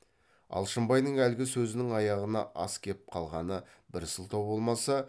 алшынбайдың әлгі сөзінің аяғына ас кеп қалғаны бір сылтау болмаса